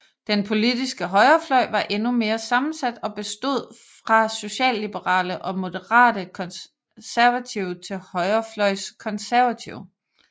Den politiske højrefløj var endnu mere sammensat og bestod fra socialliberale og moderate konservative til højrefløjs konservative